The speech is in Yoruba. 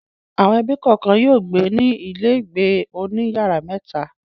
Àwọn ẹbí kọ̀ọ̀kan yóò gbé ní ilégbèé oní ìyàrá mẹ́ta.